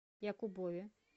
якубове